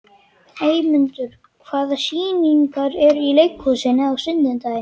Eymundur, hvaða sýningar eru í leikhúsinu á sunnudaginn?